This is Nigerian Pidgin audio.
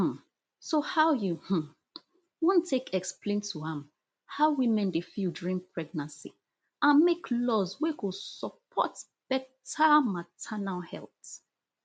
um so how you um wan take explain to am how women dey feel during pregnancy and make laws wey go support beta maternal health